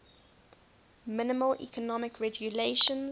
minimal economic regulations